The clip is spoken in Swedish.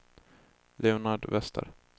Leonard Wester